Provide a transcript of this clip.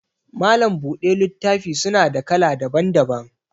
Malam buɗe littafi suna da kala daban daban